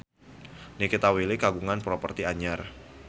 Nikita Willy kagungan properti anyar